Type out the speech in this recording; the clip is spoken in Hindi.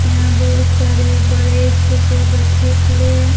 यहां बहुत सारे बड़े छोटे बच्चे खड़े हैं।